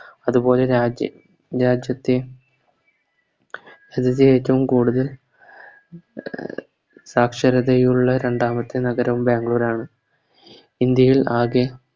അതുപോലെ രാജ്യ രാജ്യത്തെ രാജ്യത്തെ ഏറ്റോം കൂടുതൽ എ സാക്ഷരതയുള്ള രണ്ടാമത്തെ നഗരവും ബാംഗ്ലൂരാണ് ഇന്ത്യയിൽ ആകെ